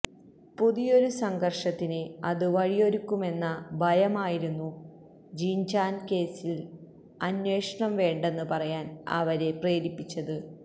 പുതിയൊരു സംഘര്ഷത്തിന് അത് വഴിയൊരുക്കുമെന്ന ഭയമായിരുന്നു ജിന്ജാന കേസില് അന്വേഷണം വേണ്ടെന്ന് പറയാന് അവരെ പ്രേരിപ്പിച്ചത്